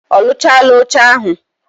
Oluchala oche ahu